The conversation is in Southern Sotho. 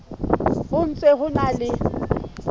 ho ntse ho na le